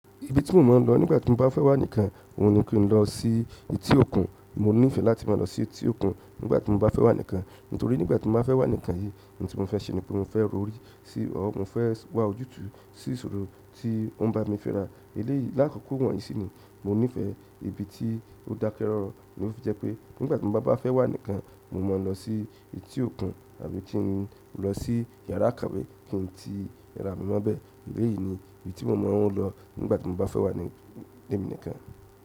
Ibi tí mò ń mọ̀ lọ nígbà tí mo bá fẹ́ wà nìkan òun ni kí n lọ sí etí òkun. Mo nífẹ̀ẹ́ láti máa lọ sí etí òkun nígbà tí mo bá fẹ́ wà nìkan, nítorí nígbà tí mo bá fẹ́ wà nìkan yìí, ohun tí mo fẹ́ ṣe ni pé mo fẹ́ ro orí si ọ̀ọ́, mo fẹ́ wà ojútùú sí ìṣòro tí ó ń bá mi fẹ́ rà. Eléyìí, lákòókò wọ̀nyí sì ni mo nífẹ̀ẹ́ ibi tí ó dákẹ́ rọ́rọ́. Ó fi jẹ́ pé nígbà tí mo bá fẹ́ wà nìkan, mo mọ̀ lọ sí etí òkun àbí kí n lọ sí yàrá ìkàwé kí n tí ra mi mọ́bẹ̀. Eléyìí ni ibi tí mo mọ̀ wọ́n lọ nígbà tí mo bá fẹ́ wà ni lẹ́mi nìkan.